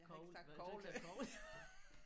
Nåh havde du ikke sagt kogle?